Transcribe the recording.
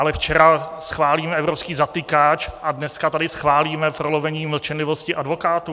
Ale včera schválíme evropský zatykač a dneska tady schválíme prolomení mlčenlivosti advokátů?